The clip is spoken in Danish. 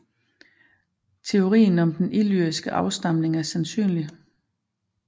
Teorien om den illyriske afstamning er sandsynlig